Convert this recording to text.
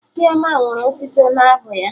Chioma nwere otito n'abụ ya